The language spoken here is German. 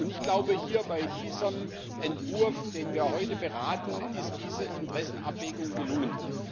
Und ich glaube, bei diesem Entwurf, den wir heute beraten, ist diese Interessenabwägung gelungen.